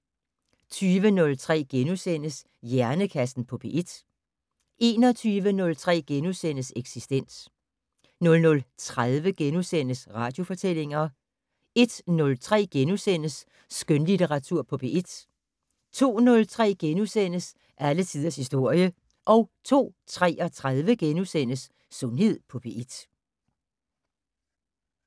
20:03: Hjernekassen på P1 * 21:03: Eksistens * 00:30: Radiofortællinger * 01:03: Skønlitteratur på P1 * 02:03: Alle tiders historie * 02:33: Sundhed på P1 *